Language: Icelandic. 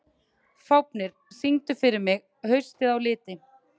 Fáfnir, syngdu fyrir mig „Haustið á liti“.